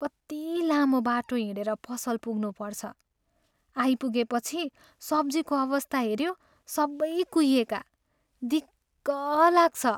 कति लामो बाटो हिँडेर पसल पुग्नुपर्छ, आइपुगेपछि सब्जीको अवस्था हेऱ्यो, सबै कुहिएका। दिक्क लाग्छ।